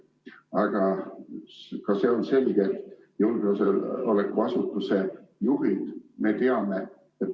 Aga ka see on selge, et julgeolekuasutuste juhte me teame.